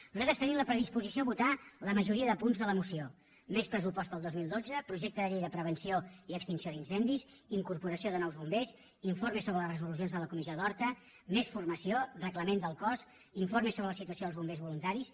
nosaltres tenim la predisposició a votar la majoria de punts de la moció més pressupost per al dos mil dotze projecte de llei de prevenció i extinció d’incendis incorporació de nous bombers informe sobre les resolucions de la comissió d’horta més formació reglament del cos informe sobre la situació dels bombers voluntaris